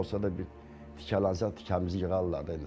Necə olsa da bir tikələnsək, tikəmizi yığarlar da.